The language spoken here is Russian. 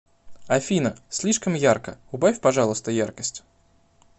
афина слишком ярко убавь пожалуйста яркость